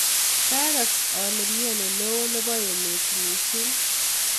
kakaas ale imiani neo nebo emet mising